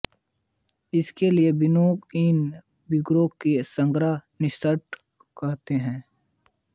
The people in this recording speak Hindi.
इसीलिए विनोबा इन व्रतों को सत्याग्रह निष्ठा कहते हैं